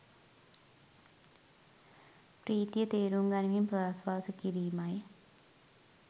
ප්‍රීතිය තේරුම් ගනිමින් ප්‍රශ්වාස කිරීමයි